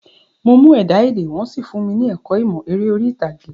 Mo mú ẹ̀dá-èdè, wọ́n sì fúnmi ní ẹ̀kọ́ ìmọ̀ eré orí ìtàgé.